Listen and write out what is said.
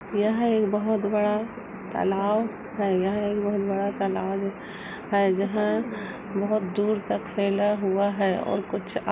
यहाँ एक बहोत बड़ा तालाब है। यह एक बहुत बड़ा तालाब है जहाँं बहुत दूर तक फैला हुआ है और कुछ आ --